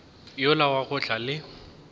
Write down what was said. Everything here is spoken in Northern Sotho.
yola wa go tla le